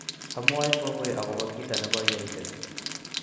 amwoe kongoi akobo kito ne koiyai let